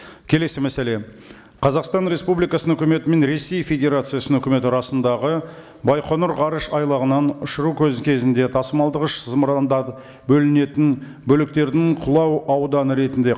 келесі мәселе қазақстан республикасының үкіметі мен ресей федерациясының үкіметі арасындағы байқоңыр ғарыш айлағынан ұшыру кезінде тасымалдағыш зымырандар бөлінетін бөліктердің құлау ауданы ретінде